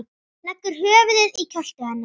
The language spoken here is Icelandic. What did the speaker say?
Leggur höfuðið í kjöltu hennar.